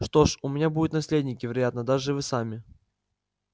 что ж у меня будут наследники вероятно даже вы сами